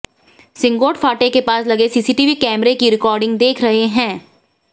सिंगोट फाटे के पास लगे सीसीटीवी कैमरे की रिकॉर्डिंग देख रहे हैं